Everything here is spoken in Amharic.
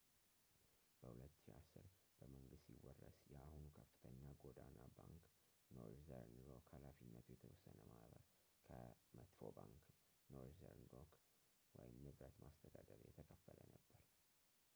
በ2010፣ በመንግሥት ሲወረስ የአሁኑ የከፍተኛ ጎዳና ባንክ ኖርዘርን ሮክ ኃ.የተ.ማ ከ«መጥፎው ባንክ» ኖርዘርን ሮክ ንብረት ማስተዳደር የተከፈለ ነበር